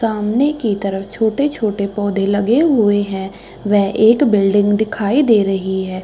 सामने की तरफ छोटे-छोटे पौधे लगे हुए हैं। वेह एक बिल्डिंग दिखाई दे रही है।